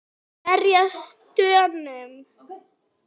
Verjast Dönum!